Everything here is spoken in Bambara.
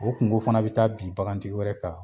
O kunko fana bi taa bin bakan tigɛ wɛrɛ kan.